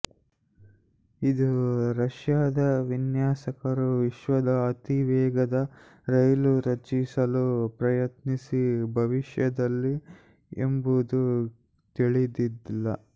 ಇದು ರಷ್ಯಾದ ವಿನ್ಯಾಸಕರು ವಿಶ್ವದ ಅತಿವೇಗದ ರೈಲು ರಚಿಸಲು ಪ್ರಯತ್ನಿಸಿ ಭವಿಷ್ಯದಲ್ಲಿ ಎಂಬುದು ತಿಳಿದಿಲ್ಲ